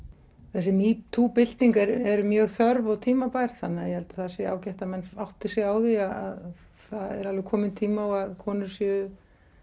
þessi metoo bylting er mjög þörf og tímabær þannig að ég held að það sé ágætt að menn átti sig á því að það er alveg kominn tími á að konur sé